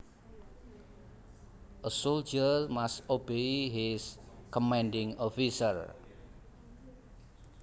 A soldier must obey his commanding officer